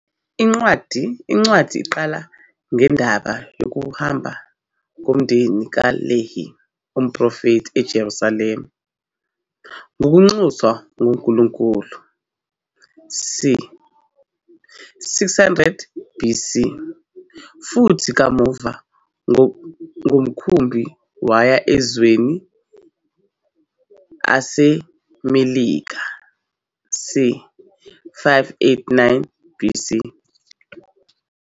Incwadi iqala ngendaba yokuhamba komndeni kaLehi, umprofethi, eJerusalema ngokunxuswa nguNkulunkulu c. 600 BC, futhi kamuva ngomkhumbi waya emazweni aseMelika c. 589 BC.